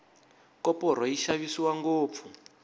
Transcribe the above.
koporo yi xavisiwa ngopfu